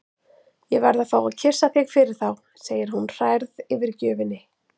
Ég verð að fá að kyssa þig fyrir þá, segir hún hrærð yfir gjöfinni.